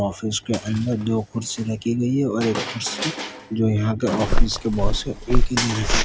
office के अंदर दो कुर्सी लगी हुई है और एक कुर्सी जो यहा के ऑफिस के बॉस है उनके लिए रखी --